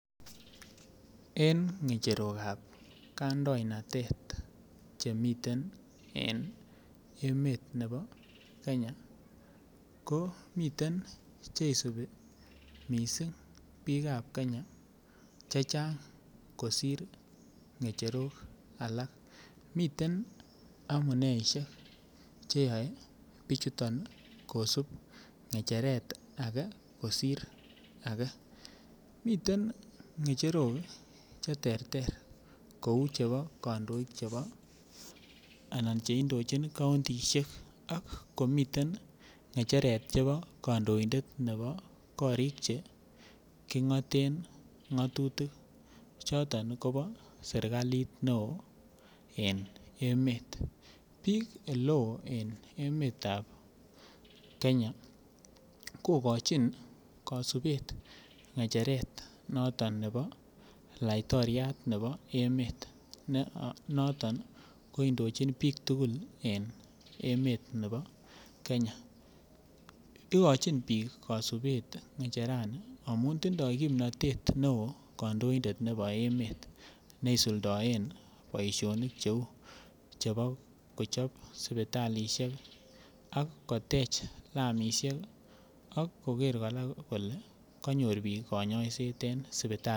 En ng'echerok ab kandoinatet che miten en emetab Kenya ko miten Che isubi mising' bikap Kenya kosir ng'echerok alak miten amuneisiek Che yae bichuto kosub ng'echeret age kosir age miten ng'echerok ii Che terter kou chebo kandoik Che indochin kauntisiek ak komiten ng'echeret nebo kandoik chebo korik Che king'aten ng'atutik choton kobo serkalit neo en emet bikap Oleo en emetab Kenya kogochin kasubet ng'echeret noton nebo laitoriat nebo emet noton ko indochin bik tugul en emet nebo Kenya igochin bik kasubet ng'echerani amun tindoi kimnatet neo kandoindet nebo emet ne isuldoen boisionik Cheu chebo kochob sipitalisiek ak kotech lamisiek ak koger kora kole kanyor bik kanyoiset en sipitalisiek